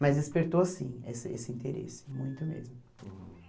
Mas despertou sim esse esse interesse, muito mesmo.